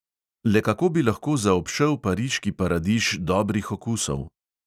Le kako bi lahko zaobšel pariški paradiž dobrih okusov?